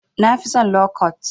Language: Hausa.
Na fi son lo kwat.